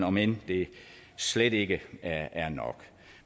om end det slet ikke er nok